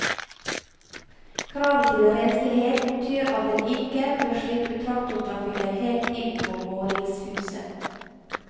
Kravet til renslighet betyr at en ikke bør slippe traktortrafikken helt inn på våningshuset.